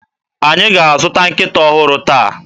Anyị ga-azụta nkịta ọhụrụ taa